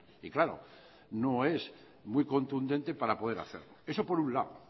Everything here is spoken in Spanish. y claro no es muy contundente para poder hacer eso por un lado